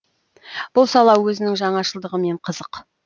бұл сала өзінің жаңашылдығымен қызық